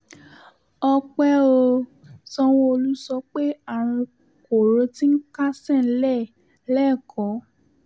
ọ̀pẹ ò sanwóolu sọ pé àrùn kóró tí ń kásẹ̀ nílẹ̀ lékòó